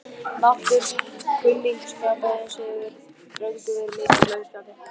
Máttur kunningsskaparins hefur löngum verið mikill á Íslandi.